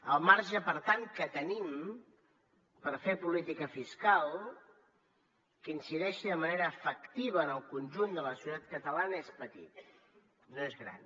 el marge per tant que tenim per fer política fiscal que incideixi de manera efectiva en el conjunt de la societat catalana és petit no és gran